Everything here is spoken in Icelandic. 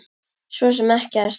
Svo sem ekkert.